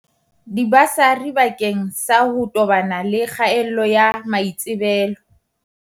Dibasari bakeng sa ho tobana le kgaello ya maitsebelo